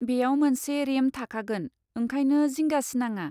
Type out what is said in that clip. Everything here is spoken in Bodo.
बेयाव मोनसे रेम्प थाखागोन, ओंखायनो जिंगा सिनाङा।